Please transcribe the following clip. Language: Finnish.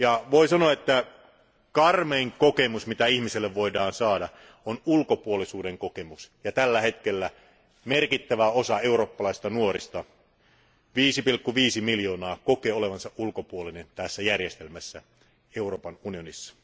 Voin sanoa, että karmein kokemus, joka ihmisellä voi olla, on ulkopuolisuuden kokemus, ja tällä hetkellä merkittävä osa eurooppalaisista nuorista 5,5 miljoonaa kokee olevansa ulkopuolinen tässä järjestelmässä, Euroopan unionissa.